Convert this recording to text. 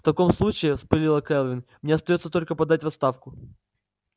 в таком случае вспылила кэлвин мне остаётся только подать в отставку